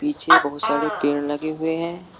पीछे बहुत सारे पेड़ लगे हुए हैं।